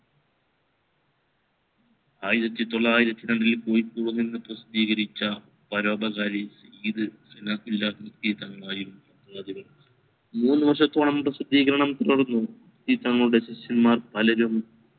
ആയിരത്തി തൊള്ളായിരത്തി രണ്ടിൽ കോഴിക്കോടിൽ പ്രാസദീകരിച്ച പരോപകാരി ആയിരുന്നു മൂന്ന് വർഷത്തോളം പ്രാസദീകരണം തുടർന്നു പലരും